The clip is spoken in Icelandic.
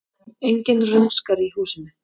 Enginn rumskar í húsinu.